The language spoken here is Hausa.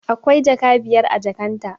Akwai jaka biyar a jakan ta